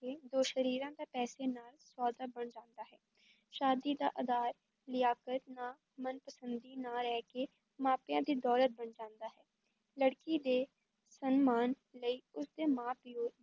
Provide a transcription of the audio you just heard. ਕੇ ਦੋ ਸਰੀਰਾਂ ਦਾ ਪੈਸੇ ਨਾਲ ਸੌਦਾ ਬਣ ਜਾਂਦਾ ਹੈ, ਸ਼ਾਦੀ ਦਾ ਅਧਾਰ ਲਿਆਕਤ ਨਾ ਮਨਪਸੰਦੀ ਨਾ ਰਹਿ ਕੇ ਮਾਪਿਆਂ ਦੀ ਦੌਲਤ ਬਣ ਜਾਂਦਾ ਹੈ, ਲੜਕੀ ਦੇ ਸਨਮਾਨ ਲਈ ਉਸ ਦੇ ਮਾਂ-ਪਿਉ